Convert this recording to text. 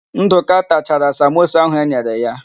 Ndụka tachara samosa áhụ̀ e nyere ya.